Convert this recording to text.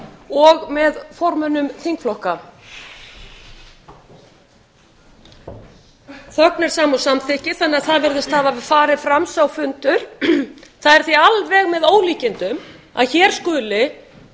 og með formönnum þingflokka þögn er sama og samþykki þannig að það virðist hafa farið fram sá fundur það er því alveg með ólíkindum að hér skuli formenn